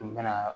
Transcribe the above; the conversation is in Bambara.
N bɛna